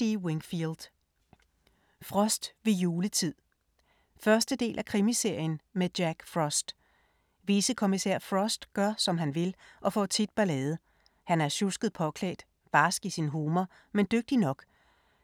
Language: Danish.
Wingfield, R. D.: Frost ved juletid 1. del af Krimiserien med Jack Frost. Vicekommissær Frost gør, som han vil, og får tit ballade. Han er sjusket påklædt, barsk i sin humor, men dygtig nok.